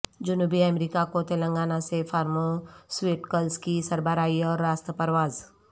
جنوبی امریکہ کو تلنگانہ سے فارماسویٹکلس کی سربراہی اور راست پرواز